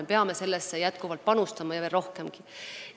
Me peame sellesse panustama veel rohkem.